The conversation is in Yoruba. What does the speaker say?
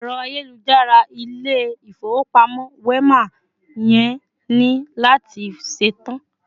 Ero ayélujára Ilé-ifowopamo Wema yẹn ni lati ṣetan